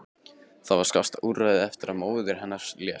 Það var skásta úrræðið eftir að móðir hennar lést.